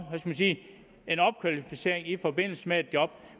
en opkvalificering i forbindelse med et job